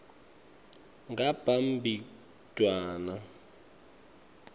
ngabhimbidvwane